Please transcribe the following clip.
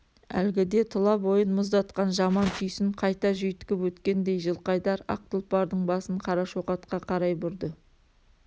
әлгіде тұла бойын мұздатқан жаман түйсін қайта жүйткіп өткендей жылқайдар ақ тұлпардың басын қарашоқатқа қарай бұрды